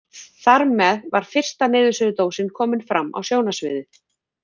Þarmeð var fyrsta niðursuðudósin komin fram á sjónarsviðið.